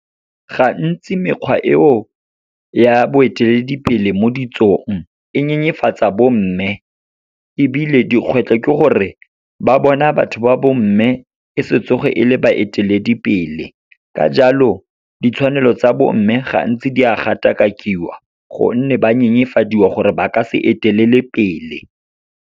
Gantsi mekgwa eo ya boeteledipele mo ditsong, e nyenyefatsa bomme. Ebile dikgwetlho ke gore, ba bona batho ba bomme e se tsoge e le baeteledipele. Ka jalo, ditshwanelo tsa bomme gantsi di a gatakakiwa gonne ba nyenyefadiwa gore ba ka se etelele pele.